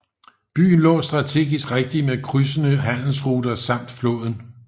Byen lå strategisk rigtigt med krydsende handelsruter samt floden